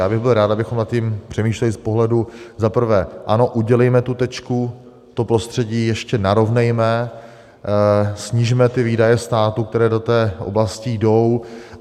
Já bych byl rád, abychom nad tím přemýšleli z pohledu: za prvé, ano, udělejme tu tečku, to prostředí ještě narovnejme, snižme výdaje státu, které do té oblasti jdou.